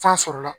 Fan sɔrɔla